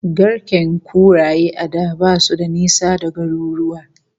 Garken kuraye a da basu da nisa da garuruwa